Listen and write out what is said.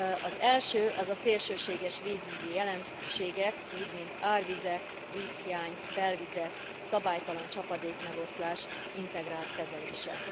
Az első, az a szélsőséges vízügyi jelenségek, úgy mint árvizek, vízhiány, belvizek, szabálytalan csapadékmegoszlás integrált kezelése.